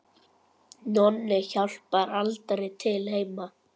Nonni hjálpar aldrei til heima.